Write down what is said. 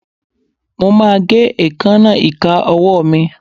Mo máa gé èékánná ìka ọwọ́ mi.